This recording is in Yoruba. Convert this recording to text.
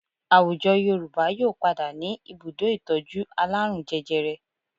Àwùjọ Yorùbá yóò padà ní ibùdó ìtọ́jú alárùn jẹjẹrẹ